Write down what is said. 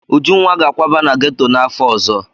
Ujunwa ga-akwaba na geto n'afọ ọzọ.